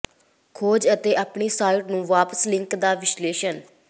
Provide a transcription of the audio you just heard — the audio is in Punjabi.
ਖੋਜ ਅਤੇ ਆਪਣੀ ਸਾਈਟ ਨੂੰ ਵਾਪਸ ਲਿੰਕ ਦਾ ਵਿਸ਼ਲੇਸ਼ਣ